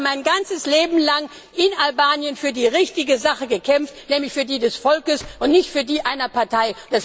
Ich habe mein ganzes Leben lang in Albanien für die richtige Sache gekämpft, nämlich für die des Volkes und nicht für die einer Partei.